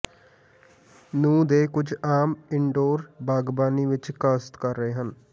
ਨੂੰ ਦੇ ਕੁਝ ਆਮ ਇਨਡੋਰ ਬਾਗਬਾਨੀ ਵਿਚ ਕਾਸ਼ਤ ਕਰ ਰਹੇ ਹਨ